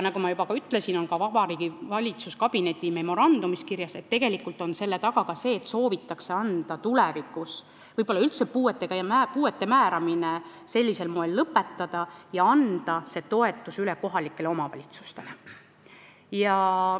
Nagu ma juba ütlesin, on ka valitsuskabineti memorandumis kirjas, et tegelikult on selle taga see, et soovitakse tulevikus puude määramine sellisel moel võib-olla üldse lõpetada ja anda see toetus üle kohalikele omavalitsustele.